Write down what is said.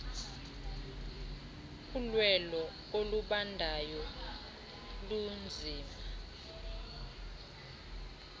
ulwelo olubandayo lunzima